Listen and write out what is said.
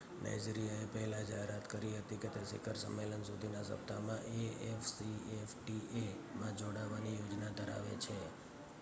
નાઇજીરિયાએ પહેલા જાહેરાત કરી હતી કે તે શિખર સંમેલન સુધીના સપ્તાહમાં એ.એફ.સી.એફ.ટી.એ માં જોડાવાની યોજના ધરાવે છે